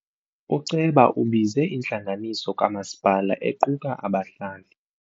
Uceba ubize intlanganiso kamasipala equka abahlali.